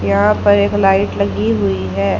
यहां पर एक लाइट लगी हुई है।